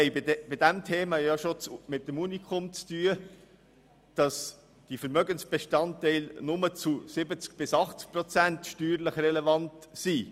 Bei diesem Thema haben wir es mit dem Unikum zu tun, dass die Vermögensbestandteile von Liegenschaften nur zu 70 bis 80 Prozent steuerlich relevant sind.